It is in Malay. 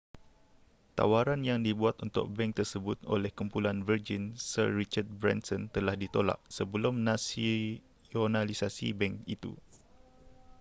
tawaran yang dibuat untuk bank tersebut oleh kumpulan virgin sir richard branson telah ditolak sebelum nasionalisasi bank itu